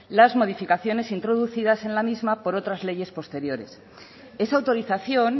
las modificaciones introducidas en la misma por otras leyes posteriores esa autorización